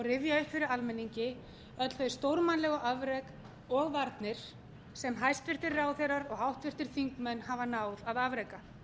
rifja upp fyrir almenningi öll þau stórmannlegu afrek og varnir sem hæstvirtir ráðherrar og háttvirtir þingmenn hafa náð að afreka